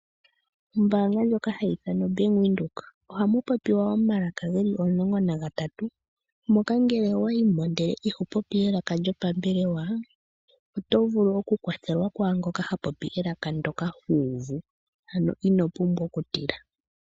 Ombaanga ndjoka hayi ithanwa bank Windhoek ohamu popiwa omalaka geli omulongo nagatatu. Mono ngele owa yimo ihe iho popi elaka lyopambelewa oto vulu okukwathelwa kwaangoka hapopi elaka ndyoka huuvu ano ino pumbwa okutila.